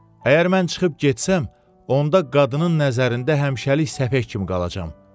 Əgər mən çıxıb getsəm, onda qadının nəzərində həmşəlik səfeh kimi qalacam.